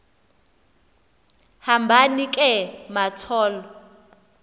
hambani ke mathol